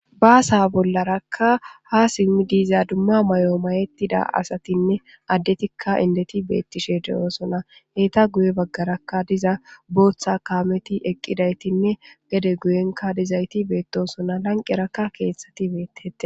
Baasa bollarakka ha simmidiiza dumma may7o mayetida asatinne addetikka indeti beettishe deyoosona heeta guye baggarakka diza booththa kaameti eqqidaytinne gede guyenka dizayti beettosona lanqerakka keeththati beettete.